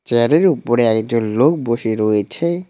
চেয়ারের উপরে একজন লোক বসে রয়েছে।